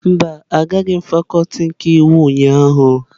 Mba, agaghị m fakuti nke iwu ụnyahụ.